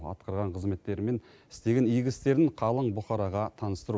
атқарған қызметтері мен істеген игі істерін қалың бұқараға таныстыру